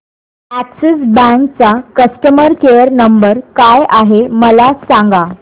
Axis bank चा customer care number काय आहे मला सांगा